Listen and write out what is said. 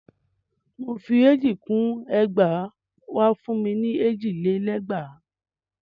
Mò fi èjì kún ẹgbàá ó wa fún ni èjì lé lẹ́gbàá.